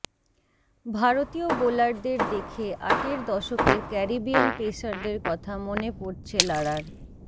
ভারতীয় বোলারদের দেখে আটের দশকের ক্যারিবিয়ান পেসারদের কথা মনে পড়ছে লারার